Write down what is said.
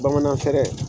Bamanan fɛɛrɛ